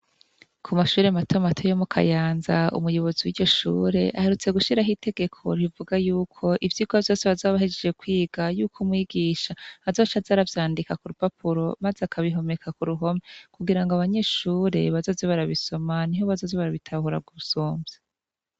Kumashure mato mato yo mu kayanza umuyobozi wiryoshure aherutse gushiraho itegeko rivuga yuko ivyirwa vyose bazoba bahejeje kwiga yuko umwigisha azoca azaravyandika kurupapuro maze akabihomeka kuruhome kugira ngo abanyeshure bazoze barabisoma niho bazoza barabitahura gusumvya